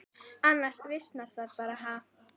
Annars visnar það bara, ha.